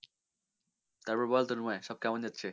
তারপর বল তন্ময় সব কেমন চলছে?